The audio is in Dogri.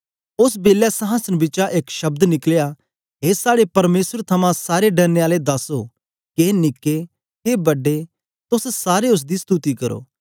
ओस बेलै संहासन बिचा एक शब्द निकलया ए साड़े परमेसर थमां सारे डरने आले दासो के निके के बड्डे तोस सारे उस्स दी स्तुति करो